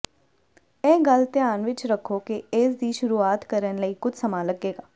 ਇਹ ਗੱਲ ਧਿਆਨ ਵਿੱਚ ਰੱਖੋ ਕਿ ਇਸ ਦੀ ਸ਼ੁਰੂਆਤ ਕਰਨ ਲਈ ਕੁਝ ਸਮਾਂ ਲੱਗੇਗਾ